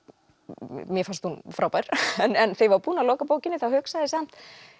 mér fannst hún frábær en þegar ég var búin að loka bókinni þá hugsaði ég samt